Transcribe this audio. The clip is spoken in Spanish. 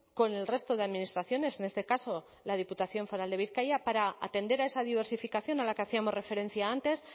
con el resto de administraciones en este caso la diputación foral de bizkaia para atender a esa diversificación a la que hacíamos referencia antes